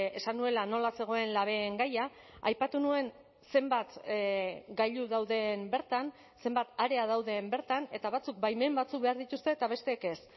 esan nuela nola zegoen labeen gaia aipatu nuen zenbat gailu dauden bertan zenbat area dauden bertan eta batzuk baimen batzuk behar dituzte eta besteek ez